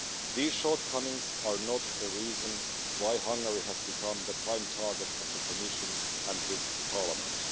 These shortcomings are not the reason why Hungary has become the prime target of the Commission and this Parliament.